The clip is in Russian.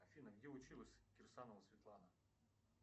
афина где училась кирсанова светлана